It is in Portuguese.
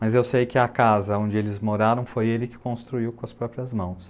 Mas eu sei que a casa onde eles moraram foi ele que construiu com as próprias mãos.